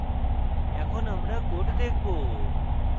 এখন আমরা code দেখবো